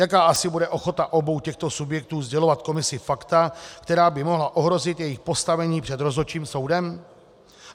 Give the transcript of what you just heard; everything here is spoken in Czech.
Jaká asi bude ochota obou těchto subjektů sdělovat komisi fakta, která by mohla ohrozit jejich postavení před rozhodčím soudem?